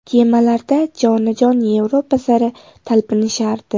Kemalarda jonajon Yevropa sari talpinishardi.